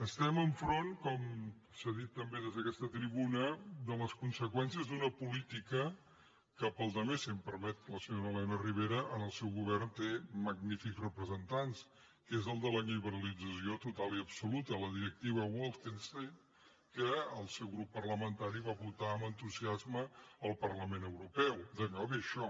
estem enfront com s’ha dit també des d’aquesta tribuna de les conseqüències d’una política que per la resta si em permet la senyora elena ribera en el seu govern té magnífics representants que és el de la liberalització total i absoluta la directiva bolkestein que el seu grup parlamentari va votar amb entusiasme al parlament europeu d’allò ve això